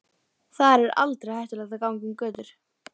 Þar er aldrei hættulegt að ganga um götur.